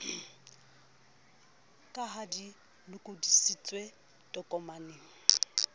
ka ha di lokodisitswe tokomaneng